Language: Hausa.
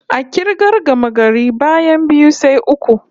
A k'irgar gamagari, bayan biyu, sai uku